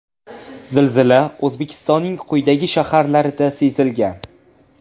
Zilzila O‘zbekistonning quyidagi shaharlarida sezilgan.